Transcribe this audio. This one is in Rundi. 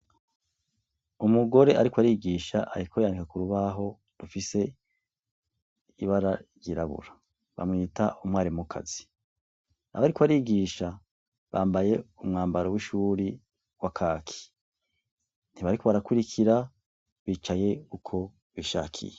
Umugore ariko arigisha ariko yandika k'urubaho rufise ibara ryirabura bamwita umwarimukazi ,abo ariko arigisha bambaye umwambaro w'ishure wakaki, ntibariko barakwirikira bicaye uko bishakiye.